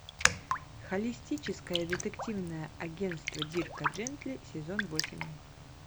холистическое детективное агентство дирка джентли сезон восемь